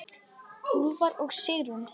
Úlfar og Sigrún.